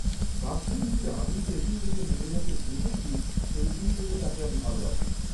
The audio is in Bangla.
বাস্তবিকই আমি যে দিন থেকে নীরজাকে দেখেছি, সেই দিন থেকে তাকে ভালবাসি।